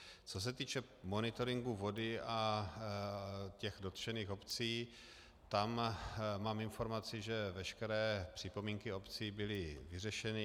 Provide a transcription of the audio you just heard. Co se týče monitoringu vody a těch dotčených obcí, tam mám informaci, že veškeré připomínky obcí byly vyřešeny.